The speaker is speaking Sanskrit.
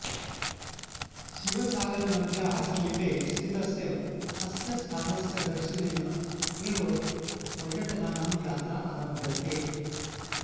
शिवसागरनद्याः समीपे स्थितस्य अस्य स्थानस्य दर्शनेन एव पर्यटकानां यात्रा आरभ्यते